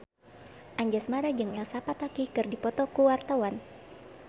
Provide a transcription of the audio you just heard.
Anjasmara jeung Elsa Pataky keur dipoto ku wartawan